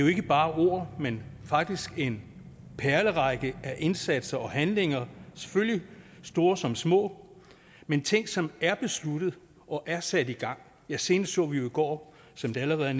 ikke bare er ord men faktisk en perlerække af indsatser og handlinger selvfølgelig store som små men ting som er besluttet og er sat i gang senest så vi jo i går som det allerede